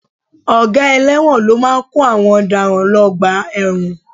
Ọ̀gá ẹlẹ́wọ̀n ló máa kó àwọn ọ̀daràn lọ ọgbà ẹ̀wọ̀n